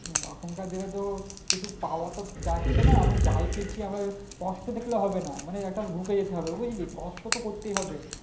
এখানকার দিনেতো কিছু পাওয়াতো যাচ্ছে না আমরা যাই পেয়েছি আমরা কষ্ট দেখলে হবে না মানে একটা ঢুকে যেতে হবে বুঝলি কষ্ট তো করতেই হবে